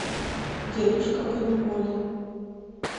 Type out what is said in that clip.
дедушка по неволе